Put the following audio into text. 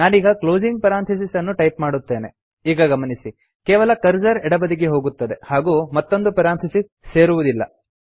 ನಾನೀಗ closing parenthesis ಅನ್ನು type ಮಾಡುತ್ತೇನೆ ಈಗ ಗಮನಿಸಿ ಕೇವಲ ಕರ್ಸರ್ ಎಡಬದಿಗೆ ಹೋಗುತ್ತದೆ ಹಾಗೂ ಮತ್ತೊಂದು ಪೆರಾಂಥಿಸಿಸ್ ಸೇರುವುದಿಲ್ಲ